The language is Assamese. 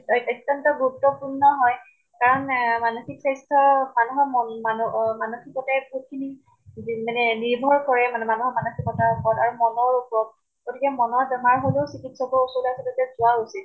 ঐত অত্য়ন্ত গুৰুত্বপূৰ্ণ হয়। কাৰণ এহ মানসিক স্বাস্থ্য মানুহৰ মন মানু অহ মানসিকতাই বহুত খিনি যিম মানে যিবোৰ কৰে মানে মানুহৰ মানসিকতাৰ উপৰত আৰু মনৰ উপৰত। গতেকে মনৰ বেমাৰ হলেওঁ চিকিৎসৰ ওচৰত আচলতে যোৱা উচিত।